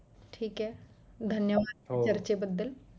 ठीक आहे धन्यवाद चर्चेबद्दल